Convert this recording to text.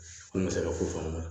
An bɛ se ka ko fana na